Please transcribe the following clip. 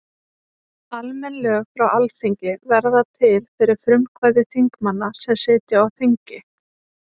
Almenn lög frá Alþingi verða til fyrir frumkvæði þingmanna sem sitja á þingi.